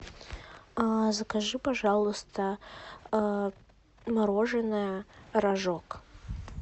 закажи пожалуйста мороженое рожок